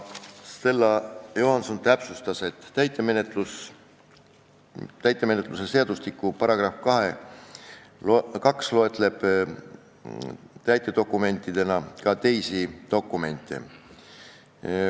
Stella Johanson täpsustas, et täitemenetluse seadustiku § 2 loetleb täitedokumentide hulgas ka teisi dokumente.